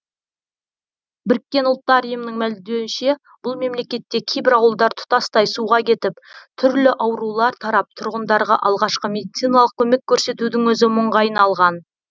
біріккен ұлттар ұйымының мәлімдеуінше бұл мемлекетте кейбір ауылдар тұтастай суға кетіп түрлі аурулар тарап тұрғындарға алғашқы медициналық көмек көрсетудің өзі мұңға айналған